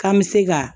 K'an bɛ se ka